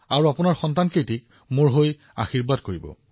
আৰু আপোনাৰ সন্তানক মোৰ আশীৰ্বাদ দিব